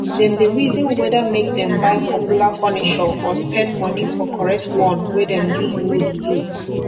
dem dey rizin weda make dem buy popular fornishur or spend money for koret one wey dem yus wood do